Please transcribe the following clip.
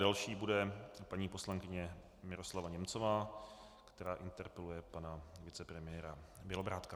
Další bude paní poslankyně Miroslava Němcová, která interpeluje pana vicepremiéra Bělobrádka.